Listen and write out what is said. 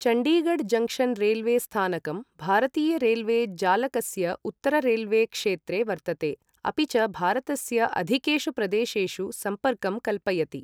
Chandigarh junction railway स्थानकं भारतीय railway जालकस्य उत्तर रेल्वे क्षेत्रे वर्तते, अपि च भारतस्य अधिकेषु प्रदेशेषु सम्पर्कं कल्पयति।